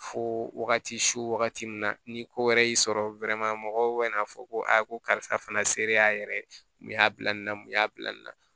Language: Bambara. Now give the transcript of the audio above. Fo wagati su wagati min na ni ko wɛrɛ y'i sɔrɔ mɔgɔw bɛ n'a fɔ ko a ko karisa fana selen a yɛrɛ ye mun y'a bila nin na mun y'a bila nin na